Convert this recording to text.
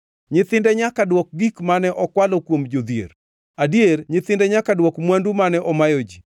Nyithinde nyaka dwok gik mane okwalo kuom jodhier, adier nyithinde nyaka dwok mwandu mane omayo ji.